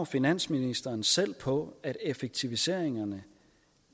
finansministeren selv tror på at effektiviseringerne